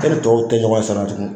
E ni tɔw tɛ ɲɔgɔn ɲɛ sira la tugun